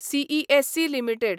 CESC limited